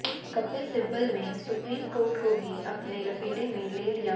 कपिल सिब्बल ने supreme court को भी अपने लपेटे में ले लिया